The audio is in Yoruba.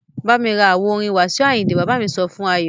Bámi ra àwo orin Wasiu Ayinde! Bàbá sọ fún Ayọ.